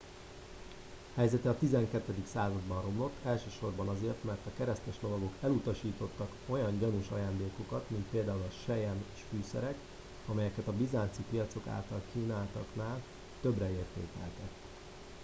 helyezete a 12. században romlott elsősorban azért mert a keresztes lovagok elutasítottak olyan gyanús ajándékokat mint például a selyem és fűszerek amelyeket a bizánci piacok által kínáltaknál többre értékeltek